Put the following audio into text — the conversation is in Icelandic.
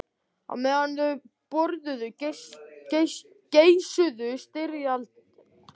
Á meðan þau borðuðu geisuðu styrjaldir og hungursneyðir í útvarpinu.